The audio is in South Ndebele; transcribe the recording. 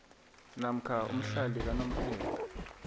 namkha umhlali kanomphela